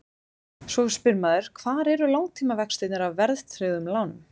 Svo spyr maður hvar eru langtímavextirnir af verðtryggðum lánum?